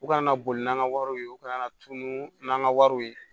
U kana boli n'an ka wariw ye u kana na tunu n'an ka wariw ye